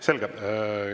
Selge.